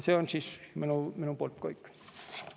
See on minu poolt kõik.